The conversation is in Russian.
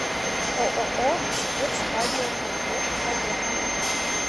ооо спецрадиокомплект поехали